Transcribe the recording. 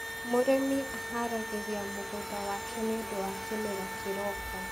mũrĩmi aharagiriria mũgũnda wake nĩũndũ wa kĩmera kĩroka